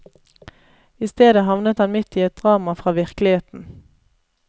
I stedet havnet han midt i et drama fra virkeligheten.